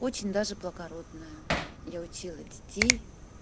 очень даже благородная я учила детей